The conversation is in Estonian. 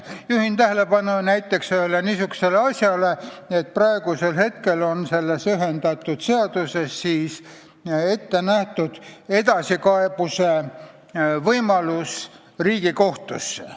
Juhin tähelepanu näiteks ühele niisugusele asjale, et praegu on selles meie ühendatud seaduses ette nähtud võimalus edasi kaevata Riigikohtusse.